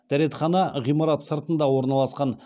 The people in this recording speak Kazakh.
дәретхана ғимарат сыртында орналасқан